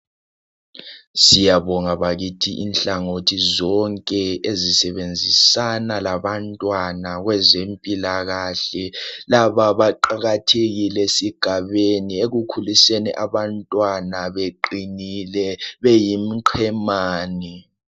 Siyabonga bakithi inhlangothi zonke ezisebenzisana labantwana kwezempilakahle. Laba baqakathekile esigabeni ekukhuliseni abantwana beqinile beyimqemani